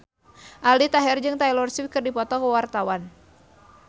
Aldi Taher jeung Taylor Swift keur dipoto ku wartawan